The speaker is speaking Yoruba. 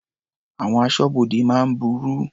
Àwọn aṣọ́bodè máa ń burú.